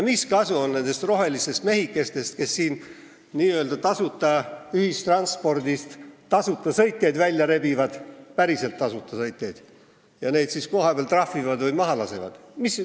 Mis kasu on nendest rohelistest mehikestest, kes siin n-ö tasuta ühistranspordist tasuta sõitjaid välja rebivad – päriselt tasuta sõitjaid – ja neid siis kohapeal trahvivad või maha lasevad?